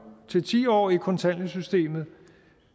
til ti år i kontanthjælpssystemet